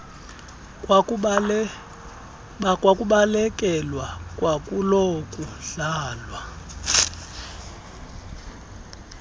kwakubalekelwa kwakulo kudlalwa